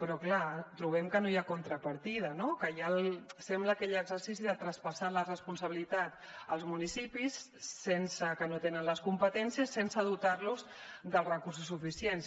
però clar trobem que no hi ha contrapartida no sembla que hi ha l’exercici de traspassar la responsabilitat als municipis que no tenen les competències sense dotar los dels recursos suficients